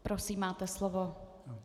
Prosím, máte slovo.